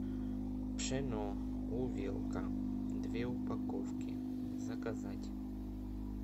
пшено увелка две упаковки заказать